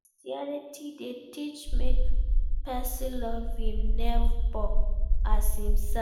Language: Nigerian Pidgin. Christianity de teach make persin love im neighbour as imself